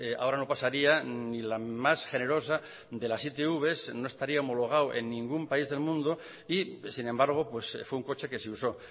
ahora no pasaría ni la más generosa de las itv no estaría homologado en ningún país del mundo y sin embargo fue un coche que se usó